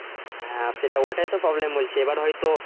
হ্যা সেটাও ওটাই তো problem বলছি এবার হয়তো।